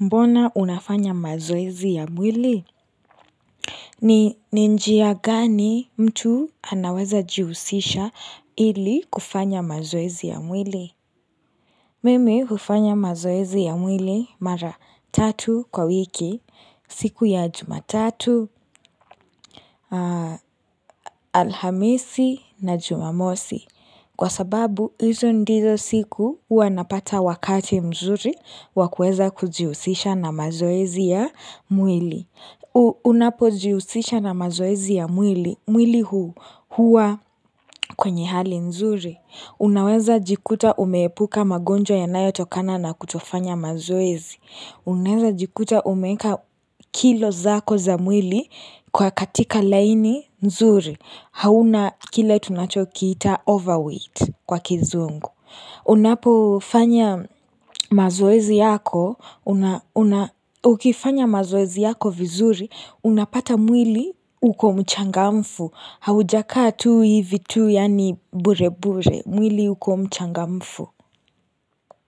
Mbona unafanya mazoezi ya mwili? Ni njia gani mtu anaweza jihusisha ili kufanya mazoezi ya mwili? Mimi hufanya mazoezi ya mwili mara tatu kwa wiki, siku ya jumatatu, alhamisi na jumamosi. Kwa sababu, hizo ndizo siku huwa napata wakati mzuri wakuweza kujihusisha na mazoezi ya mwili. U Unapo jihusisha na mazoezi ya mwili, mwili huu huwa kwenye hali nzuri. Unaweza jikuta umepuka magonjwa yanayo tokana na kutofanya mazoezi. Unaweza jikuta umeka kilo zako za mwili kwa katika laini mzuri. Hauna kile tunachokiita overweight kwa kizungu Unapo fanya mazoezi yako una una Ukifanya mazoezi yako vizuri Unapata mwili uko mchangamfu Haujakaa tu hivi tu yaani bure bure mwili uko mchangamfu.